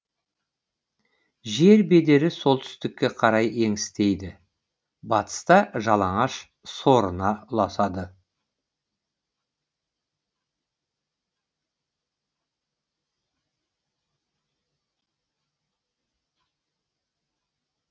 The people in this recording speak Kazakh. жер бедері солтүстікке қарай еңістейді батыста жалаңаш сорына ұласады